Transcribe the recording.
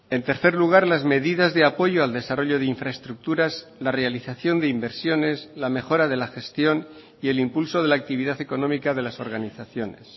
en tercer lugar las medidas de apoyo al desarrollo de infraestructuras la realización de inversiones la mejora de la gestión y el impulso de la actividad económica de las organizaciones